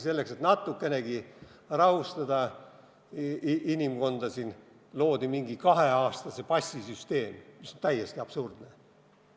Selleks, et natukenegi inimesi rahustada, loodi kaheaastase passi süsteem, mis on täiesti absurdne.